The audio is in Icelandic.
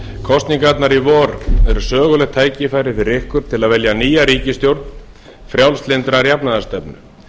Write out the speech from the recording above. kosningarnar í vor eru sögulegt tækifæri fyrir ykkur til að velja nýja ríkisstjórn frjálslyndrar jafnaðarstefnu